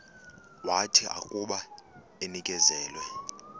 wathi akuba enikezelwe